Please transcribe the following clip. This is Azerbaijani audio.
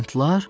Lantlar?